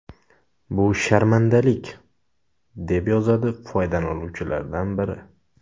Bu sharmandalik”, deb yozadi foydalanuvchilardan biri.